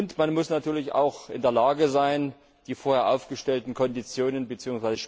Und man muss natürlich auch in der Lage sein, die vorher aufgestellten Konditionen bzw.